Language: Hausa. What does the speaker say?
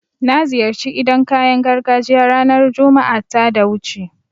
Na ziyarci idan kayan gargajiya ranar Juma'a ta da wuce